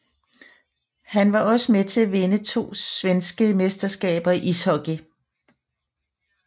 Han var også med til at vinde to svenske mesterskaber i ishockey